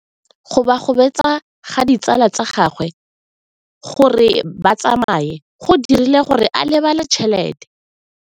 Go gobagobetsa ga ditsala tsa gagwe, gore ba tsamaye go dirile gore a lebale tšhelete.